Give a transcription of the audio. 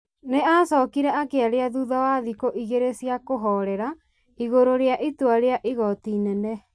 Nĩ acokire akĩaria thutha wa thikũ igĩrĩ cia kũhorera igũrũ rĩa itua rĩa igooti inene,